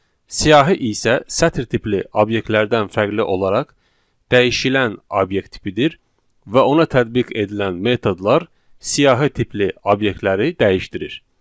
Siyahı isə sətir tipli obyektlərdən fərqli olaraq dəyişilən obyekt tipidir və ona tətbiq edilən metodlar siyahı tipli obyektləri dəyişdirir.